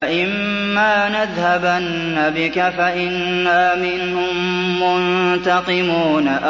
فَإِمَّا نَذْهَبَنَّ بِكَ فَإِنَّا مِنْهُم مُّنتَقِمُونَ